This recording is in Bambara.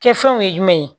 Kɛfɛnw ye jumɛn ye